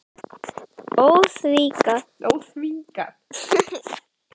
Óþvingað fas Hildar gagnvart kunningjum mínum kom jafnt þeim sem mér í opna skjöldu.